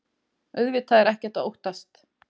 Auðvitað er ekkert að óttast.